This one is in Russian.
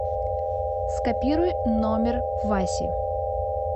скопируй номер васи